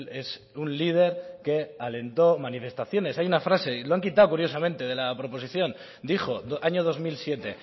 es un líder que alentó manifestaciones hay una frase y lo han quitado curiosamente de la proposición dijo año dos mil siete